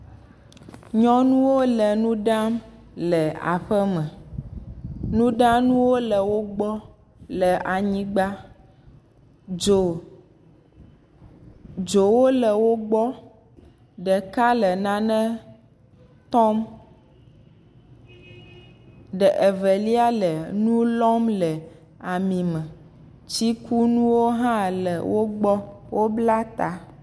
Nyɔnuwo le nu ɖam le aƒe me, nuɖanuwo le wo gbɔ kle anyigba dzo, dzowo le wo gbɔ ɖeka le nane tɔm, ɖe evelia le nu lɔm le ami me tsikunuwo hã le wo gbɔ wobla ta.